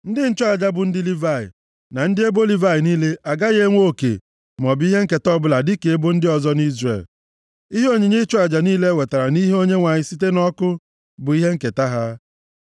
Ndị nchụaja bụ ndị Livayị, na ndị ebo Livayị niile agaghị enwe oke maọbụ ihe nketa ọbụla dịka ebo ndị ọzọ nʼIzrel. Ihe onyinye ịchụ aja niile e wetara nʼihu Onyenwe anyị site nʼọkụ bụ ihe nketa ha.